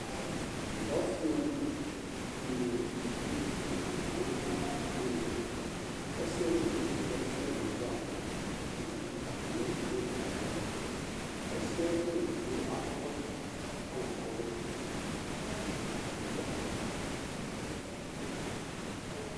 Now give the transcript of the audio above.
Ɔsi nu uluvi nu ayu uvi la nu tɛ ɔsiɛ nu evidze zati nu owu ava ukpi du atami ɛtu nu owu ayalɔ ɔsiɛ nu uluvie akɔ ɛkɔtɔkatani akɔ ɔvlɛ du nu ɛtu atani adu aƒukpa